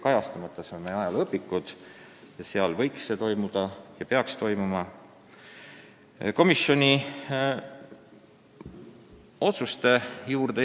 Pole tähtis, kas need isikud elavad või mitte, õpikuteski võiks tõde kirjas olla.